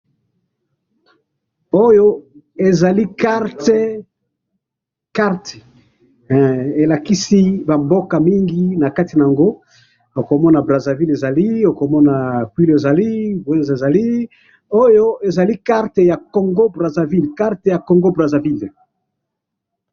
Oyo ezali carte ya mboko Congo Braville